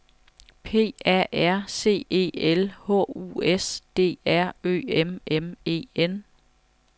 P A R C E L H U S D R Ø M M E N